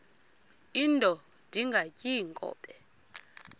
indod ingaty iinkobe